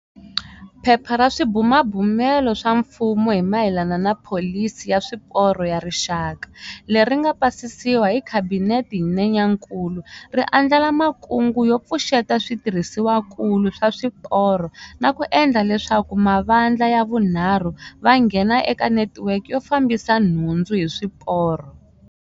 Phepha ra Swibumabumelo swa Mfumo hi mayelana na Pholisi ya Swiporo ya Rixaka, leri nga pasisiwa hi Khabinete hi Nyenyankulu, ri andlala makungu yo pfuxeta switirhisiwakulu swa swiporo na ku endla leswaku mavandla ya vunharhu va nghena eka netiweke yo fambisa nhundzu hi swiporo.